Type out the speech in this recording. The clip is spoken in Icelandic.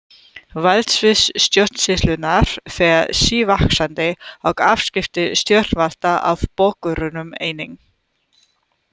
Valdsvið stjórnsýslunnar fer sívaxandi og afskipti stjórnvalda af borgurunum einnig.